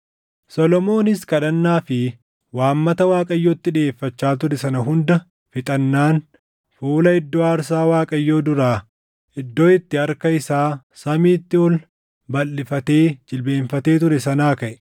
Solomoonis kadhannaa fi waammata Waaqayyotti dhiʼeeffachaa ture sana hunda fixannaan fuula iddoo aarsaa Waaqayyoo duraa, iddoo itti harka isaa samiitti ol balʼifatee jilbeenfatee ture sanaa kaʼe.